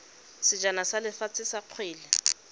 sejana sa lefatshe sa kgwele